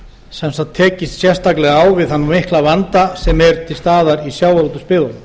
sem sagt tekist sérstaklega á við þann mikla vanda sem er til staðar í sjávarútvegsbyggðunum